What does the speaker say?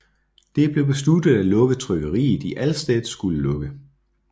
Det blev besluttet at lukke trykkeriet i Allstedt skulle lukke